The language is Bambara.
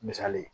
Misali ye